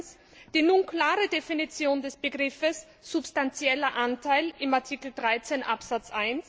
Erstens Die nun klare Definition des Begriffes substantieller Anteil in Artikel 13 Absatz